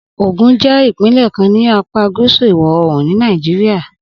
Ogun jẹ́ ìpínlẹ̀ kan ní apá gúúsù ìwọ̀-oòrùn ni Nàìjíríà